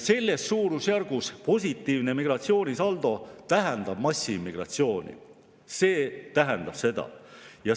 Selles suurusjärgus positiivne migratsioonisaldo tähendab massiimmigratsiooni, see tähendab seda.